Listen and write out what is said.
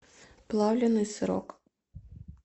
плавленный сырок